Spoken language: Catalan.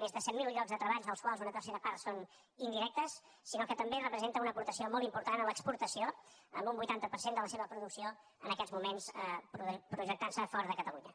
més de set mil llocs de treball dels quals una tercera part són indirectes sinó que també representa una aportació molt important a l’exportació amb un vuitanta per cent de la seva producció en aquests moments projectant se fora de catalunya